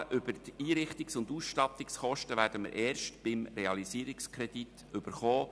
Die Angaben über die Einrichtungs- und Ausstattungskosten werden wir erst mit dem Realisierungskredit erhalten.